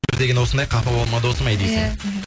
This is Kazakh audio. өмір деген осындай қапа болма досым ай дейсің иә